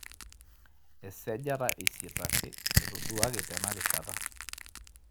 esajata e eisiet ake etoduaki tena rishata